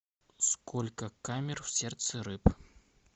сколько камер в сердце рыб